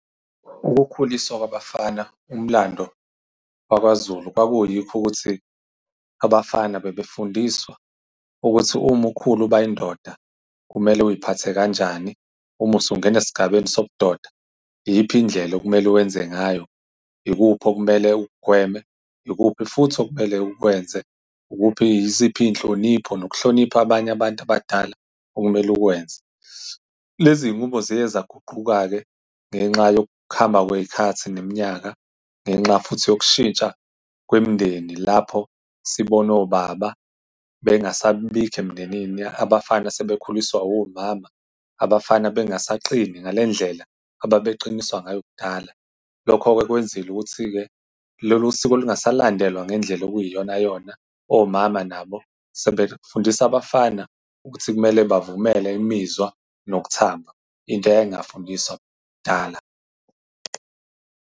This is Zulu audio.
Ukukhuliswa kwabafana, umlando waKwaZulu, kwakuyiko ukuthi abafana bebefundiswa ukuthi uma ukhula uba indoda kumele uy'phathe kanjani. Uma usungena esigabeni sobudoda, iyiphi indlela okumele ukwenze ngayo. Ikuphi okumele ukugweme. Ikuphi futhi okumele ukwenze. Ukuphi, yiziphi iy'nhlonipho nokuhlonipha abanye abantu abadala okumele ukwenze. Lezi iy'nqubo ziye zaguquka-ke, ngenxa yokuhamba kwey'khathi neminyaka, ngenxa futhi yokushintsha kwemindeni, lapho sibona obaba bengasabibikho emindenini. Abafana sebakhuliswa omama. Abafana bengasaqini ngale ndlela ababeqiniswa ngayo kudala. Lokho-ke kwenzile ukuthi-ke lolu siko lungasalandelwa ngendlela okuyiyonayona. Omama nabo sebefundisa abafana ukuthi kumele bavumele imizwa nokuthamba. Into eyayingakufundiswa kudala.